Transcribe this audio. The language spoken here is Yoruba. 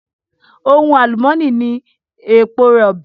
Ohun àlùmónì ni èpo rọ̀bì.